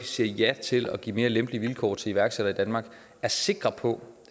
siger ja til at give mere lempelige vilkår til iværksættere i danmark er sikre på